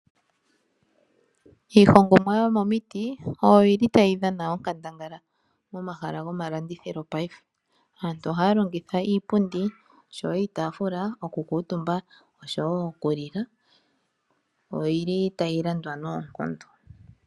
Iihongomwa yomomiti oyo yi li tayi dhana onkandangala momahala gomalandithilo paife. Aantu ohaya longitha iipundi osho wo iitaafula, oku kuutumba osho wo oku li la, oyi li tayi landwa noonkondo.